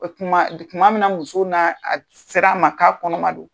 O tuma , tuma min na muso n'a c sera an ma k'a kɔnɔma don